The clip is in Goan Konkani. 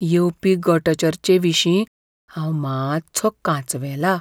येवपी गट चर्चे विशीं हांव मात्सो कांचवेलां.